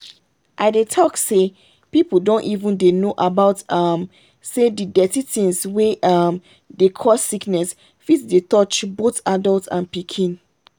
i dey talk say people don even dey know about um say the dirty things wey um dey cause sickness fit dey touch both adult and pikin.